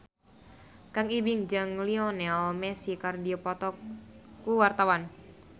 Kang Ibing jeung Lionel Messi keur dipoto ku wartawan